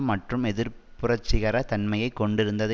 மற்றும் எதிர் புரட்சிகர தன்மையை கொண்டிருந்தது